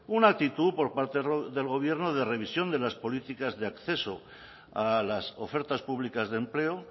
una actitud por parte del gobierno de revisión de las políticas de acceso a las ofertas públicas de empleo